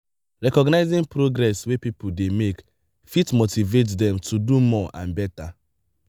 recognizing progress wey pipo dey make fit motive dem to do more and better